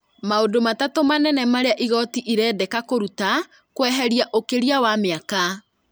Maũndũ matatũ manene marĩa igooti ĩrendeka kũruta: kweheria ũkĩria wa mĩaka